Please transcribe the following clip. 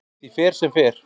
Því fer sem fer.